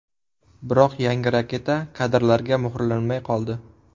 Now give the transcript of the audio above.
Biroq yangi raketa kadrlarga muhrlanmay qoldi.